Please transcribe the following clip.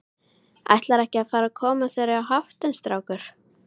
Ætlarðu ekki að fara að koma þér í háttinn, strákur?